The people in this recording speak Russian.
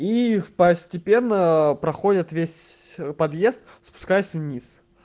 их постепенно проходят весь подъезд спускаясь вниз